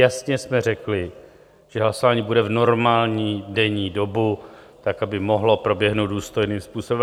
Jasně jsme řekli, že hlasování bude v normální denní dobu, tak aby mohlo proběhnout důstojným způsobem.